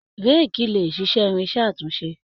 Réékí lè ṣiṣẹ́ irinṣẹ́ àtúnṣe.